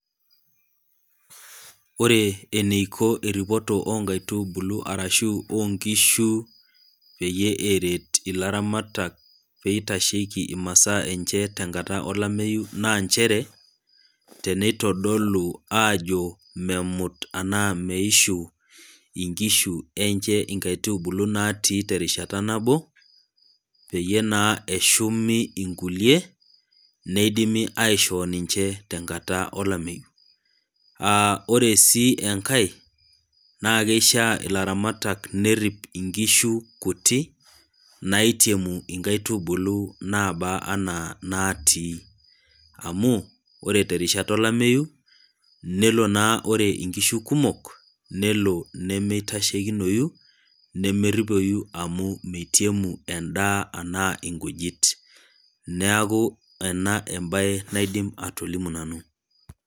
Ore eniko eripoto oonkaitubulu orashu oonkishu peyie eret ilaramatak pee eitasheki inasaa enche tenkata olamayeu naa nchere tenitodolu ajo memut ashu meishu nkishu enye nkaitubulu natii terishata nabo peyie naa eshumu inkulie netumi aishoo tenkata olameyu. oree sii enkae naa keishaa nerip ilaramatak nkishu kuti naiteru inkaitubulu naaba enaa natii ,amu ore terishata olameyu nelo naa ore nkishu kumok nelo nemeitashekinoyu nemeripoyu amu meitemu endaa enaa nkujit ,neeku ena embae naaidim atolimu nanu.